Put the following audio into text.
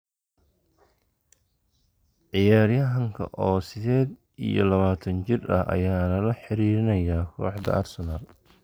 Ciyaaryahanka oo sideed iyo labataan jir ah ayaa lala xiriirinayaa kooxda Arsenal.